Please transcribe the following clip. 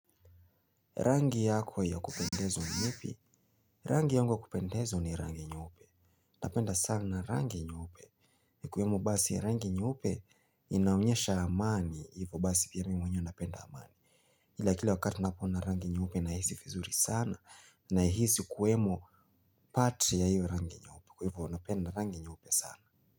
Rangi yako ya kupendezwa ni ipi, rangi yangu ya kupendezwa ni rangi nyeupe, napenda sana rangi nyeype ikiwemo basi rangi nyeupe inaonyesha amani, hivyo basi pia mi mwenyewe napenda amani ila kila wakati napoona rangi nyeupe nahisi vizuri sana nahizi kuwemo pati ya hiyo rangi nyeupe. Kwa hivo napenda rangi nyeupe sana.